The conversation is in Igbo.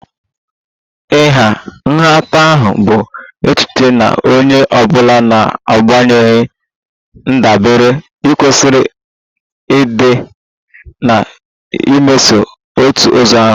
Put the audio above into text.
Ịha nhatanha bụ echiche na onye ọ bụla n'agbanyeghị ndabere kwesịrị ịdị na-emeso otu ụzọ ahụ